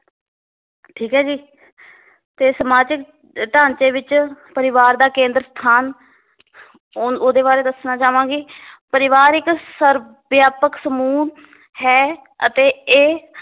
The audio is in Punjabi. ਠੀਕ ਏ ਜੀ ਤੇ ਸਮਾਜਿਕ ਢਾਂਚੇ ਵਿਚ ਪਰਿਵਾਰ ਦਾ ਕੇਂਦਰ ਸਥਾਨ ਹੁਣ ਓਹਦੇ ਬਾਰੇ ਦੱਸਣਾ ਚਾਵਾਂਗੀ ਪਰਿਵਾਰ ਇੱਕ ਸਰਵਵਿਆਪਕ ਸਮੂਹ ਹੈ ਅਤੇ ਇਹ